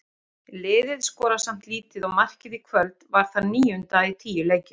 Liðið skorar samt lítið og markið í kvöld var það níunda í tíu leikjum.